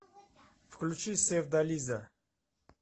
включи севдализа